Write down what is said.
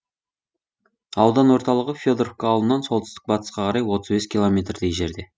аудан орталығы федоровка ауылынан солтүстік батысқа қарай отыз бес километрдей жерде